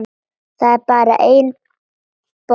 Það er bara einn bolli!